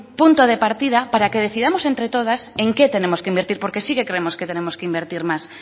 punto de partida para que decidamos entre todas en qué tenemos que invertir porque sí que creemos que tenemos que invertir más